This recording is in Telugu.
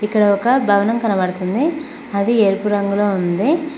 ఇక్కడ ఒక భవనం కనబడుతుంది అది ఎరుపు రంగులో ఉంది